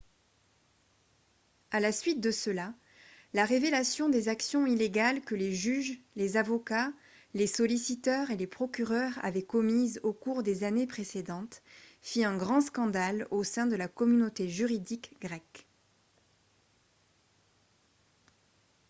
à la suite de cela la révélation des actions illégales que les juges les avocats les solliciteurs et les procureurs avaient commises au cours des années précédentes fit un grand scandale au sein de la communauté juridique grecque